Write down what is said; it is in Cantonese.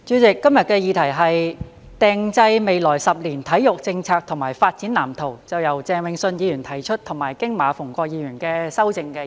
代理主席，今日的議題是"制訂未來十年體育政策及發展藍圖"，是由鄭泳舜議員提出及經馬逢國議員修正的議案。